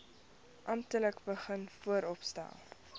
amptelik begin vooropstel